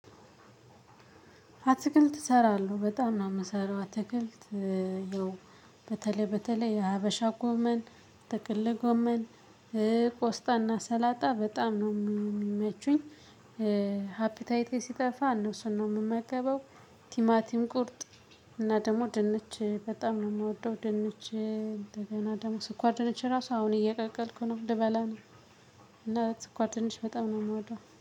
አትክልት እሰራለሁ በጣም ነው የምሰራው አትክልት ያው በተለይ በተለይ የሀበሻ ጎመን ጥቅል ጎመን ቆስጣና ሰላጣ በጣም ነው ሚ የሚመቹኝ። ሃፒታይቴ ሲጠፋ እነሱን ነው የምመገበው። ቲማቲም ቁርጥ እና ደግሞ ድንች በጣም ነው የምወደው። ድንች እንደገና ደግሞ ስኳር ድንች ራሱ አሁን እየቀቀልኩ ነው ልበላ ነው። እና ስኳር ድንችበጣም ነው የምወደው